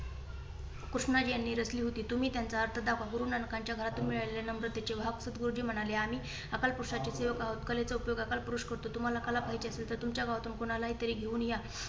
कृष्णाजी यांनी रचली होती. तुम्ही त्यांचा अर्थ दाखवा गुरुनानकांच्या घरात मिळालेले नम्रतेचे भाव सदगुरुजी म्हणाले आम्ही अकालपुरषाचे सेवक आहोत. कलेचा उपयोग आकालपुरुष करतो. तुम्हाला कला पाहिजे असेल तर तुमच्या गावातुन कोणाला तरी घेऊन या.